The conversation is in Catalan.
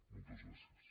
moltes gràcies